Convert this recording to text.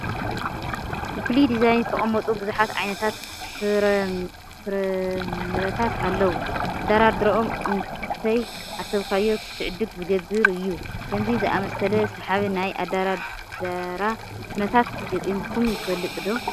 ብፍሉይ ዲዛይን ዝተቐመጡ ብዙሓት ዓይነት ፍረምረታት እኔዉ፡፡ ኣደራድርኦም እንተይሓሰብካዮ ክትዕድግ ዝገብር እዩ፡፡ ከምዚ ዝኣምሰለ ሰሓቢ ናይ ኣደራድራ ኩነታት ገጢሙኹም ይፈልጥ ዶ?